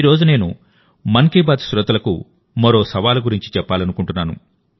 ఈ రోజునేను మన్ కీ బాత్ శ్రోతలకు మరో సవాలు గురించి చెప్పాలనుకుంటున్నాను